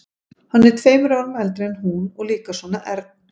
Hann er tveimur árum eldri en hún og líka svona ern.